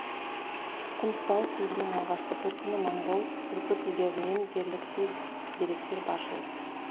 құнттау сөзінің алғашқы төркіні моңғол түркі тілдерінен дерліктей деректер баршылық